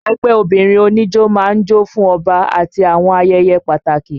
Ẹgbẹ́ obìnrin oníjó máa ń jó fún Ọba àti àwọn ayẹyẹ pàtàkì